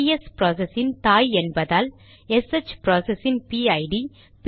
PS process இன் தாய் என்பதால் எஸ்ஹெச் ப்ராசஸ் இன் பிஐடிPID